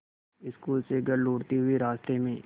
school से घर लौटते हुए रास्ते में